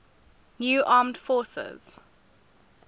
new armed forces